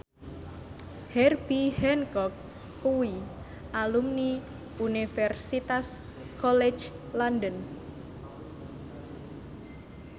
Herbie Hancock kuwi alumni Universitas College London